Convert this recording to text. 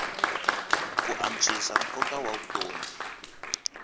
ku antswisa nkoka wa vutomi